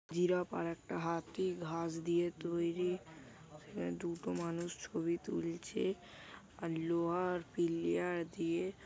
giraffe আর একটা হাতি ঘাস দিয়ে তৈরি দুটো মানুষ ছবি তুলছে আর লোহার পিলিয়ার দিয়ে--